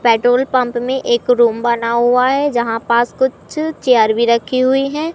Petrol pump में एक room बना हुआ है जहां पास कुछ चेयर भी रखी हुई हैं।